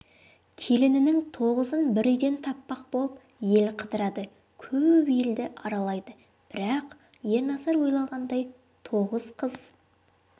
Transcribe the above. келінінің тоғызын бір үйден таппақ болып ел қыдырады көп елді аралайды бірақ ерназар ойлағандай тоғыз қыз